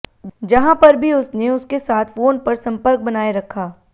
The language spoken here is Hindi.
जहां पर भी उसने उसके साथ फोन पर संपर्क बनाए रखा